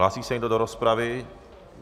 Hlásí se někdo do rozpravy?